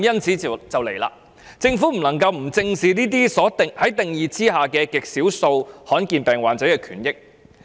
其實，政府不能夠不正視這些在定義下極少數罕見疾病患者的權益。